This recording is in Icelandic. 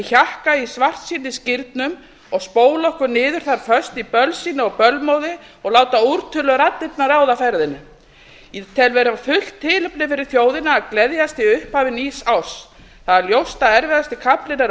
hjakka í svartsýnisgírnum og spóla okkur niður þar föst í bölsýni og bölmóði og láta úrtöluraddirnar ráða ferðinni ég tel vera fullt tilefni fyrir þjóðina að gleðjast í upphafi nýs árs það er ljóst að erfiðast kaflinn er að